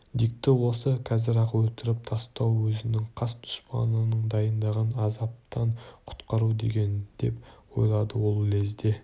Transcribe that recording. дикті осы қазір-ақ өлтіріп тастау өзінің қас дұшпанын дайындаған азаптан құтқару деген деп ойлады ол лезде